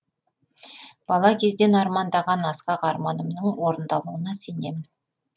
бала кезден армандаған асқақ арманымның орындалуына сенемін